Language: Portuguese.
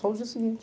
Só o dia seguinte.